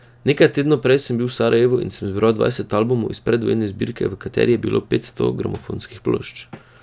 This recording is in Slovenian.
Nekaj tednov prej sem bil v Sarajevu in sem izbral dvajset albumov iz predvojne zbirke, v kateri je bilo petsto gramofonskih plošč.